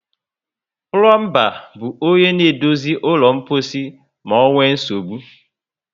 Plombar bu onye na edozi ụlọ mposi ma onwee nsogbụ